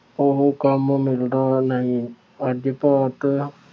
ਉਹ ਕੰਮ ਮਿਲਦਾ ਨਹੀਂ। ਅੱਜ ਭਾਰਤ